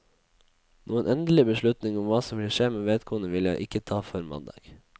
Noen endelig beslutning om hva som vil skje med vedkommende vil jeg ikke ta før mandag.